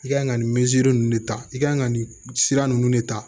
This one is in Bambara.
I ka kan ka nin ninnu de ta i ka kan ka nin sira ninnu de ta